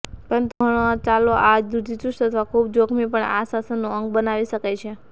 પરંતુ ઘણા ચલો આ રૂઢિચુસ્ત અથવા ખૂબ જોખમી પણ આ શાસનનું અંગ બનાવી શકે છે